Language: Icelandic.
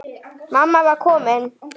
Mamma var komin.